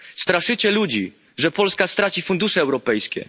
Straszycie ludzi, że Polska straci fundusze europejskie.